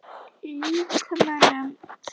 Líkömum þeirra.